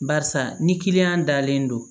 Barisa ni kiliyan dalen don